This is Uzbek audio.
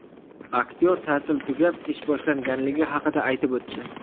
Aktyor ta’til tugab, ish boshlanganligi haqida aytib o‘tdi.